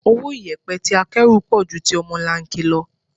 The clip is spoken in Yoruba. Owó iyẹpẹ tí akẹ́rù pọ̀ ju ti ọmọlanke lọ.